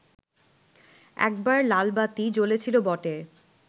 একবার লালবাতি জ্বলেছিল বটে